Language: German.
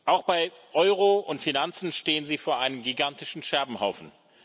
Auch bei Euro und Finanzen stehen Sie vor einem gigantischen Scherbenhaufen.